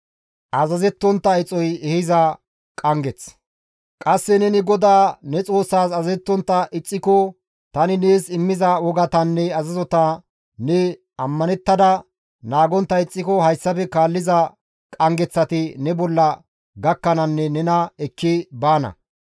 Qasse neni GODAA ne Xoossaas azazettontta ixxiko, tani nees immiza wogatanne azazota ne ammanettada naagontta ixxiko hayssafe kaalliza qanggeththati ne bolla gakkananne nena ekki baana.